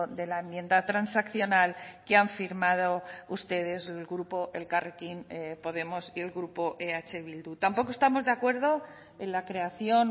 de la enmienda transaccional que han firmado ustedes el grupo elkarrekin podemos y el grupo eh bildu tampoco estamos de acuerdo en la creación